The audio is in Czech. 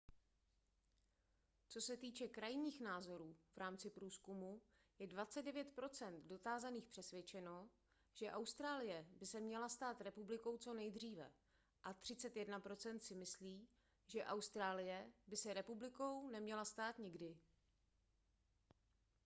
co se týče krajních názorů v rámci průzkumu je 29 procent dotázaných přesvědčeno že austrálie by se měla stát republikou co nejdříve a 31 procent si myslí že austrálie by se republikou neměla stát nikdy